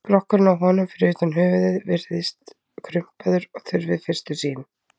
Skrokkurinn á honum, fyrir utan höfuðið, virðist krumpaður og þurr við fyrstu sýn.